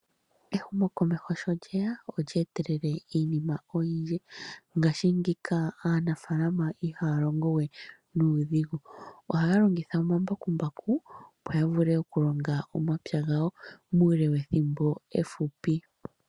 Ehumokomeho sho lyeya, olye etelele iinima oyindji. Mongashingeyi aanafalama ihaya longo we nuudhigu. Ohaya longitha omambakumbaku, opo yavule okulonga omapya gawo, muule wethimbo efupi.